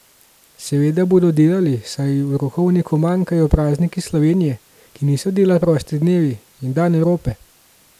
Seveda bodo delali, saj v rokovniku manjkajo prazniki Slovenije, ki niso dela prosti dnevi, in dan Evrope.